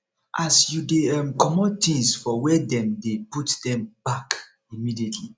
as you dey um comot things for where dem dey put dem back immediately